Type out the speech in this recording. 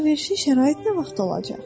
Bəs əlverişli şərait nə vaxt olacaq?